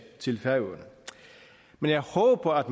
men jeg håber at